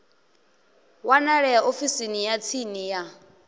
wanalea ofisini ya tsini ya